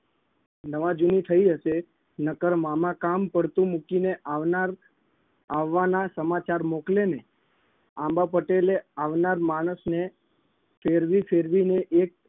નવા જૂની થઇ હશે નકર મામા કામ પડતું મૂકીને આવનાર આવવાના સમાચાર મોકલે નહીં. આંબા પટેલે આવનાર માણસને ફેરવી ફેરવીને એક